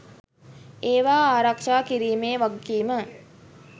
ඒවා ආරක්ෂා කිරීමේ වගකීම